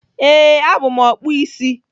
Ee, abụ m ọkpụ isi.